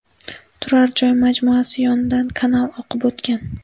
Turar joy majmuasi yonidan kanal oqib o‘tgan.